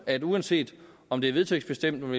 at uanset om det er vedtægtsbestemt om